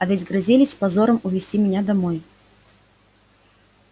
а ведь грозились с позором увезти меня домой